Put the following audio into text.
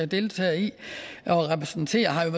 deltager i og repræsenterer har jo